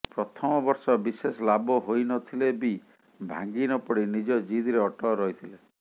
ପ୍ରଥମ ବର୍ଷ ବିଶେଷ ଲାଭ ହୋଇନଥିଲେ ବି ଭାଙ୍ଗି ନପଡି ନିଜ ଜିଦରେ ଅଟଳ ରହିଥିଲେ